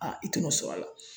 i tɛ n'o sɔr'a la